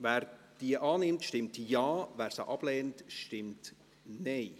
Wer diese annimmt, stimmt Ja, wer diese ablehnt, stimmt Nein.